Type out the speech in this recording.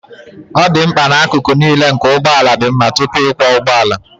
ọ dị mkpa na akụkụ niile nke ụgbọ ala dị mma tupu ịkwọ ụgbọ ala